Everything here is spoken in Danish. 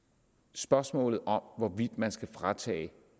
spørgsmålet om hvorvidt man skal fratage